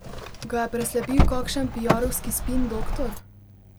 Ga je preslepil kakšen piarovski spin doktor?